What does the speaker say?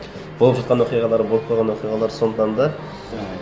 болып жатқан оқиғалар болып қойған оқиғалар сондықтан да